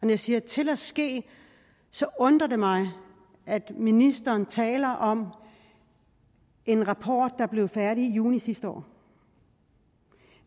jeg siger til at ske undrer det mig at ministeren taler om en rapport der blev færdig i juni sidste år